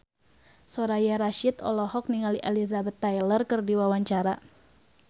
Soraya Rasyid olohok ningali Elizabeth Taylor keur diwawancara